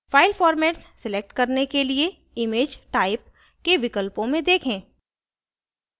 file format select करने के लिए image type के विकल्पों में देखें